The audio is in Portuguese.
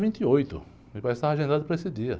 vinte e oito. Me parece que estava agendado para esse dia.